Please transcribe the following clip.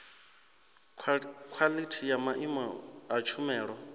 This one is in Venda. khwalithi ya maimo a tshumelo